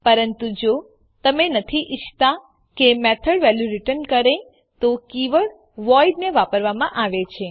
પરંતુ જો તમે નથી ઈચ્છતા કે મેથડ વેલ્યુ રીટર્ન કરે તો કીવર્ડ વોઇડ ને વાપરવામાં આવે છે